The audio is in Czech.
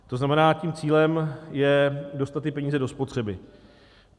To znamená, tím cílem je dostat ty peníze do spotřeby.